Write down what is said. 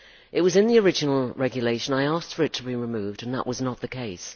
It was in the original regulation, I asked for it to be removed, and that was not the case.